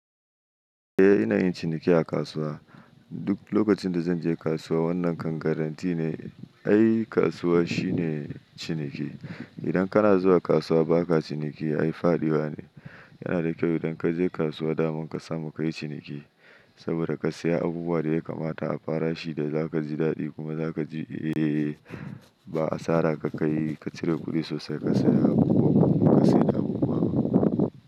Eh inayin ciniki a kasuwa. Duk lokacin da zanje kasuwa wannan kan garantti ne. Ai kasuwa shine ciniki. Idan kana zuwa kasuwa baka ciniki ai fadiwa ne. Yanada kyau idan kaje kasuwa daman kasamu kayi ciniki. Saboda ka saya abubuwan da ya kamata a farashi da zakaji daɗi kuma zakaji eh ba asara ka kai ka cire kuɗi sosai kasaya abubuwa kuma kasayar da abubuwan.